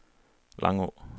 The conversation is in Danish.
Langå